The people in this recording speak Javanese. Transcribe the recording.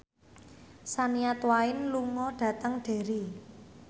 Shania Twain lunga dhateng Derry